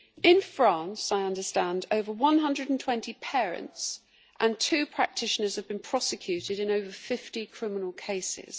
In France, I understand, over 120 parents and two practitioners have been prosecuted in over 50 criminal cases.